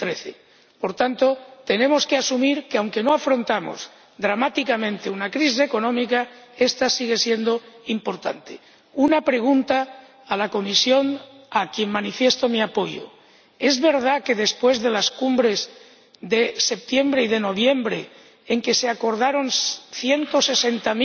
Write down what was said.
2013. Por tanto, tenemos que asumir que, aunque no afrontamos dramáticamente una crisis económica, esta sigue siendo importante. Por último, quisiera hacer una pregunta a la Comisión, a quien manifiesto mi apoyo ¿es verdad que, después de las cumbres de septiembre y de noviembre, en las que se acordaron 160